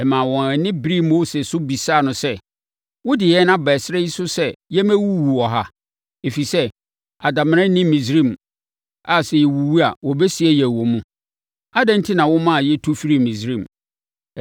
Ɛmaa wɔn ani beree Mose so bisaa no sɛ, “Wode yɛn aba ɛserɛ yi so sɛ yɛmmɛwuwu wɔ ha, ɛfiri sɛ, adamena nni Misraim a sɛ yɛwuwu a wɔbɛsie yɛn wɔ mu? Adɛn enti na womaa yɛtu firii Misraim?